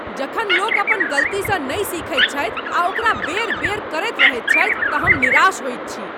जखन लोक अपन गलतीसँ नहि सीखैत छथि आ ओकरा बेर बेर करैत रहैत छथि तऽ हम निराश होइत छी ।